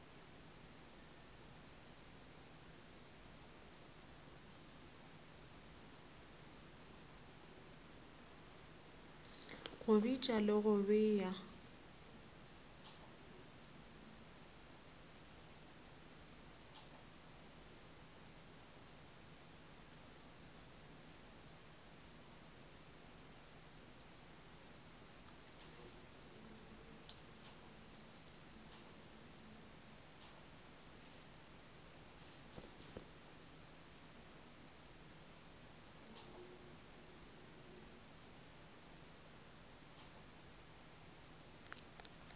go bitša le go bea